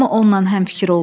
Hamı onunla həmfikir oldu.